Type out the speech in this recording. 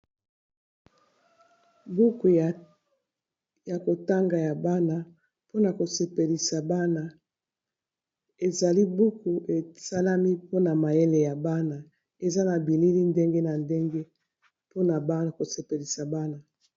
Buku ya kotanga ya bana mpona kosepelisa bana, ezali buku esalami mpona mayele ya bana eza na bilili ndenge na ndenge mpona bana ko sepelisa bana.